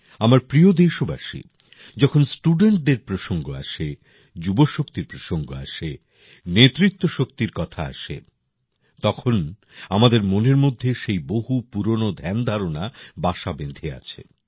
আমার প্রিয় দেশবাসী যখন স্টুডেন্ট দের প্রসঙ্গ আসে যুবশক্তির প্রসঙ্গ আসে নেতৃত্ব শক্তির কথা আসে তখন আমাদের মনের মধ্যে সেই বহু পুরোনো ধ্যান ধারণা বাসা বেঁধে আছে